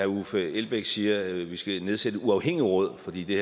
uffe elbæk siger vi skal nedsætte et uafhængigt råd fordi det